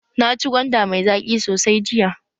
Naci gwanda mai zaƙi sosai jiya.